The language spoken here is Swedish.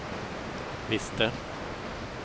visste